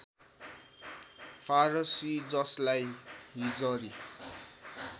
फारसी ‎जसलाई हिजरी